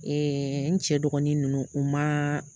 n cɛ dɔgɔnin ninnu u ma